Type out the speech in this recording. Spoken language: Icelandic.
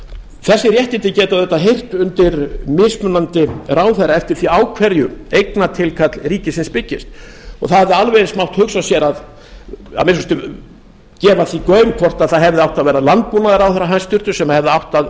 þessi réttindi geta auðvitað heyrt undir mismunandi ráðherra eftir því á hverju eignatilkall ríkisins byggist það hefði alveg eins mátt hugsa sér eða að minnsta kosti gefa því gaum hvort það hefði átt að ver a landbúnaðarráðherra hæstvirts sem hefði átt að